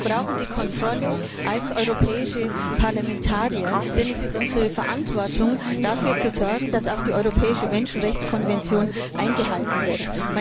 Wir brauchen die Kontrolle als europäische Parlamentarier, denn es ist unsere Verantwortung, dafür zu sorgen, dass die Europäische Menschenrechtskonvention eingehalten wird.